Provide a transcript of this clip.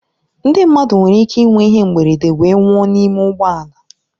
Ndị mmadụ nwere ike ịnwe ihe mberede wee nwụọ n'ime ụgbọ ala.